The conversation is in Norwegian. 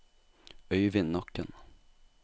Øyvin Nakken